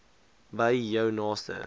by jou naaste